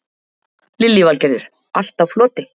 Lillý Valgerður: Allt á floti?